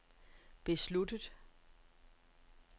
besluttet